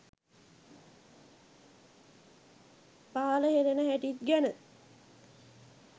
පහළ හෙලන හැටිත් ගැන